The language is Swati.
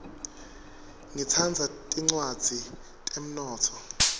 ngitsandza tincwadzi tetemnotfo